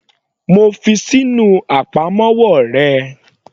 Mo fi ṣí inú àpamọ́wọ́ rẹ.